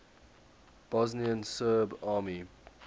bosnian serb army